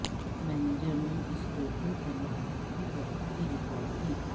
manager نے store کے خریداروں کی ترقی ریکارڈ کی